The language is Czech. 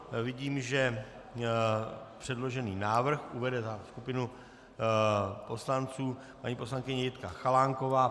Vidím, že předložený návrh uvede za skupinu poslanců paní poslankyně Jitka Chalánková.